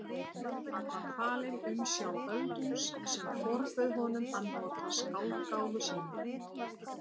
Hann var falinn umsjá Öldungs sem forbauð honum að nota skáldgáfu sína.